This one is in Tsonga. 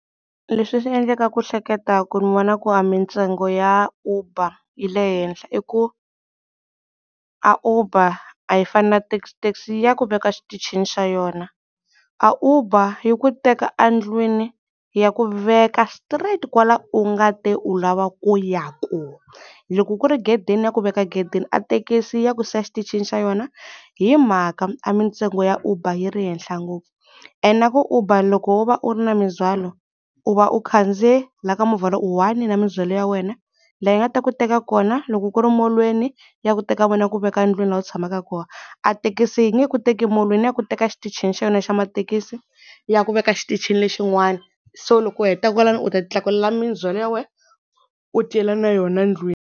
Leswi swi endleka ku hleketaku ni vona ku a mintsengo ya Uber yi le henhla i ku a Uber a yi fani na taxi taxi ya ku veka xitichini xa yona, a Uber yi ku teka endlwini yi ya ku veka straight kwala u nga te u lava ku ya koho. Loko ku ri gedeni yi ya ku veka gedeni a thekisi yi ya ku siya xitichini xa yona hi mhaka a mintsengo ya Uber yi ri ehenhla ngopfu. Ene a ku Uber loko wo va u ri na mindzwalo u va u kandziye la ka movha lo u one na mindzwalo ya wena leyi nga ta ku teka kona loko ku ri molon'weni yi ya ku teka yi ku veka ndlwini la u tshamaka kona. A thekisi yi nge ku teki molweni yi ya ku teka xitichini xa yona xa mathekisi yi ya ku veka xitichini lexin'wana so loko u heta kwalano u ta ti tlakulela mindzwalo ya wena u ti yela na yona ndlwini.